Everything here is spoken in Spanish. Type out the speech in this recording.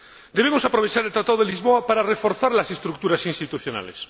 Debemos aprovechar el Tratado de Lisboa para reforzar las estructuras institucionales